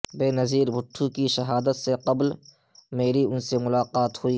بینظیر بھٹو کی شہادت سے قبل میری ان سے ملاقات ہوئی